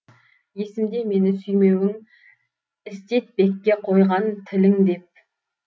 есімде мені сүймеуің істетпекке қойған тілің деп